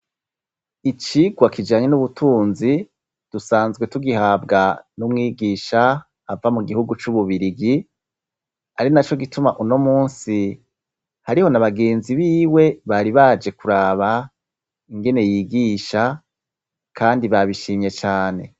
icigwa kijanye n'ubutunzi dusanzwe tugihabwa n'umwigisha ava mu gihugu c'ububirigi ari na cyo gituma uno munsi hariho na bagenzi b'iwe bari baje kuraba ingene yigisha kandi babishimye cyane.